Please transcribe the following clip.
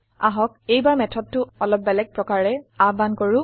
আহক এইবাৰ মেথডটো অলপ বেলেগ প্ৰকাৰে আহ্বান কৰো